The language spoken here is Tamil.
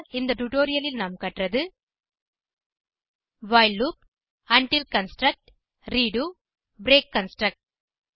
இந்த டுடோரியலில் நாம் பயன்படுத்த கற்றது while loop until construct redo break construct